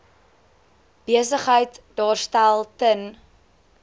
besigheid daarstel ten